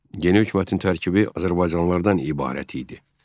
Yeni hökumətin tərkibi azərbaycanlılardan ibarət idi.